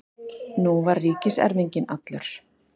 Nú var ríkiserfinginn allur.